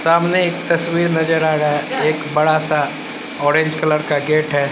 सामने एक तस्वीर नजर आ रहा एक बड़ा सा ऑरेंज कलर का गेट है।